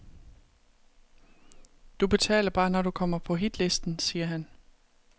Du betaler bare, når du kommer på hitlisten, siger han.